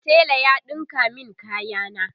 tela ya ɗinka min kaya na